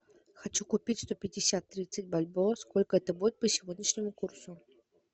хочу купить сто пятьдесят тридцать бальбоа сколько это будет по сегодняшнему курсу